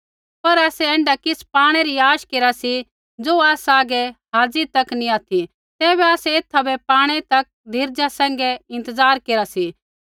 पर आसै ऐण्ढा किछ़ पाणै री आश केरा सी ज़ो आसा हागै हाज़ी तक नैंई ऑथि तैबै आसै एथा बै पाणै तक धीरजा सैंघै इंतज़ार केरा सी